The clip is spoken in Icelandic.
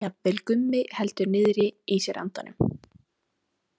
Jafnvel Gummi heldur niðri í sér andanum.